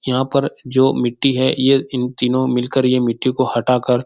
यहाँ पर जो मिट्टी है ये इन तीनो मिलकर ये मिट्टी को हटा कर --